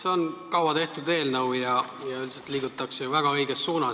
See on kaua tehtud eelnõu ja üldiselt liigutakse väga õiges suunas.